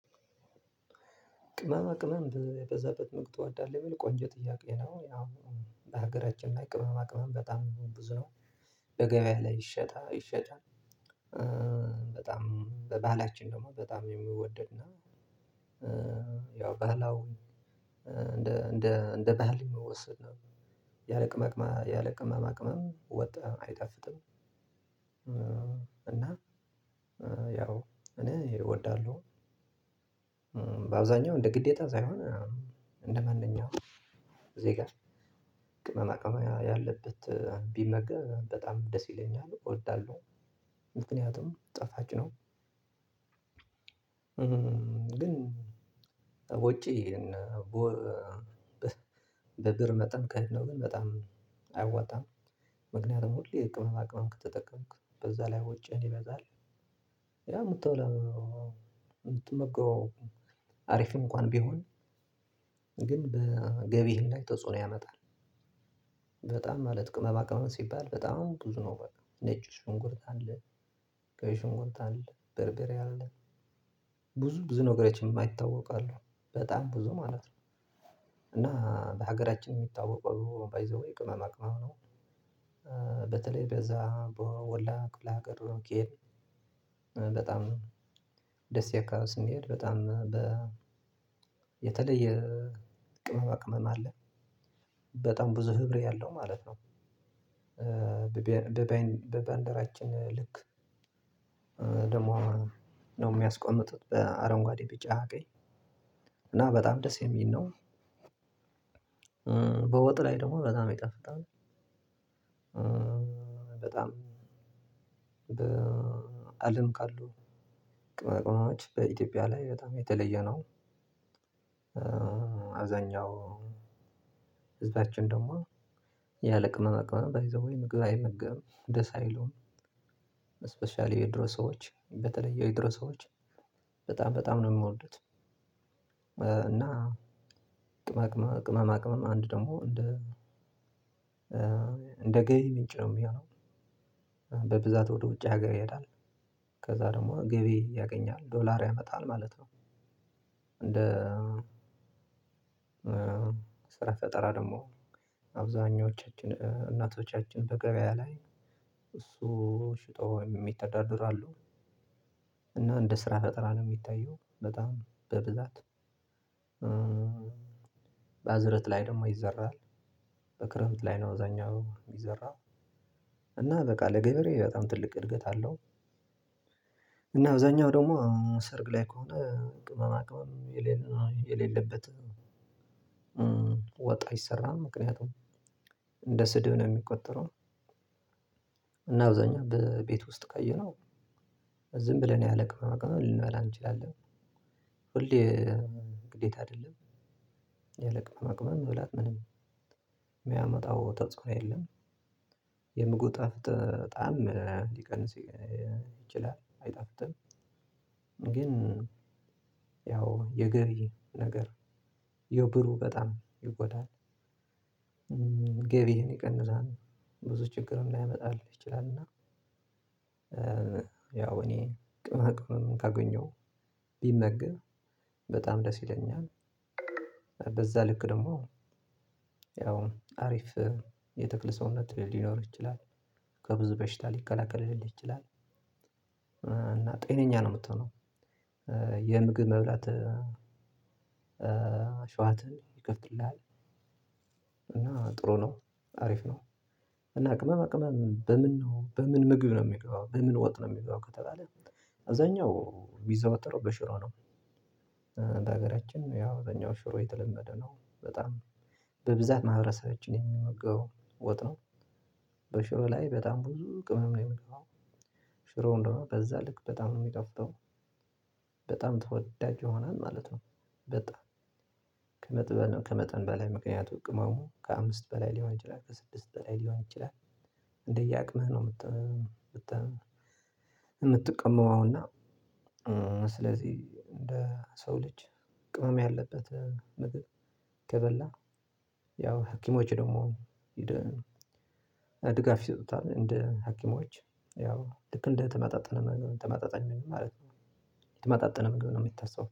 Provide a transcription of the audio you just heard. ቅመማ ቅመም የበዛበት ምግብ ትወዳለህ ሚለው ቆንጆ ጥያቄ ነው ያው በሀገራችን ላይ ቅመማ ቅመም በጣም ብዙ ነው በገበያ ላይ ይሸጣ ይሸጣል። በጣም በባህላችን ደግሞ በጣም የምወደድ ነው። ያው ባህላውን እንደ እንደ ባህል የሚወሰድ ነው። ያለቅማቅማ ያለቅመማ ቅመም ወጥ አይጣፍጥም። እና ያው እኔ እወዳለሁ። በአብዛኛው እንደ ግዴታ ሳይሆን እንደ ማንኛውም ዜጋ ቅመማ ቅመማ ያለበት ቢመገብ በጣም ደስ ይለኛል እወዳለሁ። ምክንያቱም ጣፋጭ ነው። ግን ውጪ በብር መጠን ቀለብ ግን በጣም አያዋጣም። ምክንያቱም ሁሌ የቅመማ ቅመም ከተጠቀምክ በዛ ላይ ወጭህ ይበዛል። ያ የምትበላው የምትመገበው አሪፍ እንኳን ቢሆን ግን በገቢህም ላይት ተጽኖ ያመጣል። በጣም ማለት ቅመማ ቅመም ሲባል በጣም ብዙ ነው በቃ ነጭ ሽንኩርት አለ። ቀይ ከሽንኩርት አለ በርበሪ አለ። ብዙ ብዙ ነገሮች የማይታወቁ አሉ በጣም ብዙ ማለት ነው። እና በሀገራችን የሚታወቀው ባይዘዌይ ቅመማ ቅመም ነው። በተለይ በዛ በወላ ክፍለ ሀገር። በጣም ደስካ ስንሄድ በጣም በ የተለየ ቅመማ ቅመም አለ። በጣም ብዙ ህብር ያለው ማለት ነው። በባልደራችን ልክ ደግሞ ነው የሚያስቀምጡት በአረንጓዴ ቢጫ ቀኝ እና በጣም ደስ የሚል ነው። በወጥ ላይ ደግሞ በጣም ይጣፍጣል። በጣም በአለም ካሉ ቅመማ ቅመሞች በኢትዮጵያ ላይ በጣም የተለየ ነው። አብዛኛው ህዝባችን ደግሞ ያለ ቅመማ ቅመም ባይዘዌይ ምግብ አይመገብም ደስ አይለውም። ስፔሻሊ የድሮ ሰዎች በተለየ የድሮ ሰዎች በጣም በጣም ነው የምወዱት። እና ቅማማ ቅመማ ቅመም አንድ ደግሞ እንደ እንደገቢ ምንጭ ነው የሚሆነው። በብዛት ወደ ውጭ ሀገር ይሄዳል ከዛ ደግሞ ገቢ ያገኛል ዶላር ያመጣል ማለት ነው። እንደ ስራ ፈጠራ ደግሞ አብዛኞቻችን እናቶቻችን በገበያ ላይ እሱ ሽጦ የሚተዳደሩ አሉ። እና እንደ ስራ ፈጠራ ነው የሚታየው በጣም በብዛት። በአዝረት ላይ ደግሞ ይዘራል። በክረምት ላይ ነው አብዛኛው የሚዘራው። እና በቃ ለገበሬ በጣም ትልቅ እድገት አለው። እና አብዛኛው ደግሞ ሰርግ ላይ ከሆነ ቅመማ ቅመም የሌለበት ወጥ አይሰራም ምክንያቱም እንደ ስድብ ነው የሚቆጠረው። እና አብዛኛው በቤት ውስጥ ካየህው ዝም ብለን ያለ ቅመማ ቅመም ልንበላ እንችላለን። ሁሌ ግዴታ አይደለም። ያለ ቅመማ ቅመም መብላት ምንም የሚያመጣው ተጽኖ የለም። የምግቡ ጣዕም ሊቀንስ ይችላል አይጣፍጥም። ግን ያው የገቢ ነገር ያው ብሩ በጣም ይጎዳል። ገቢህን ይቀንሳል ብዙ ችግርም ላይመጣልህ ይችላል። እና ያው እኔ ቅመማ ቅመም ካገኘሁ ቢመገን በጣም ደስ ይለኛል። በዛ ልክ ደግሞ ያው አሪፍ የትክል ሰውነት ሊኖር ይችላል ከብዙ በሽታ ሊከላከልልህ ይችላል። እና ጤነኛ ነው የምትሆነው። የምግብ መብላት ሽዋትህን ይከፍትልሃል። እና ጥሩ ነው አሪፍ ነው። እና ቅመማ ቅመም በምን ነው በምን ምግብ ነው የሚገባው በምን ወጥ ነው የሚገባው ከተባለ? አብዛኛው ቢዘዋተረው በሽሮ ነው። በሀገራችን ያው በኛው ሽሮ የተለመደ ነው። በጣም በብዛት ማህበረሰባችን የሚመገበው ወጥ ነው። በሽሮ ላይ በጣም ብዙ ቅመም ነው የሚገባው። ሽሮ ደግሞ በዛ ልክ በጣም ነው የሚጣፍጠው። በጣም ተወዳጅ ይሆናል ማለት ነው። በጣም ከመጠን በላይ ምክንያቱም ቅመሙ ከአምስት በላይ ሊሆን ይችላል ከስድስት በላይ ሊሆን ይችላል። እንደየ አቅምህ ነው። የምትቀምመው እና ስለዚህ እንደ ሰው ልጅ ቅመም ያለበት ምግብ ከበላ ያው ሀኪሞች ደግሞ እንደ ድጋፍ ይሰጡታል እንደ ሀኪሞች ያው ልክ እንደተመጣጠነ ምግብ ተመጣጣኝ ማለት የተመጣጠነ ምግብ ነው የሚታሰበው